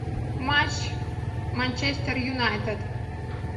матч манчестер юнайтед